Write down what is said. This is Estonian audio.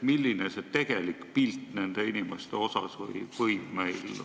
Milline võiks olla see tegelik pilt nendest inimestest?